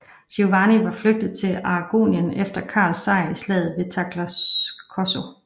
Giovanni var flygtet til Aragonien efter Karls sejr i slaget ved Tagliacozzo